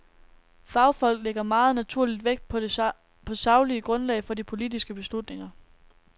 Fagfolk lægger meget naturligt vægt på det saglige grundlag for de politiske beslutninger.